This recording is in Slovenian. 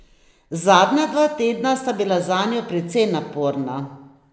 Zadnja dva tedna sta bila zanjo precej naporna.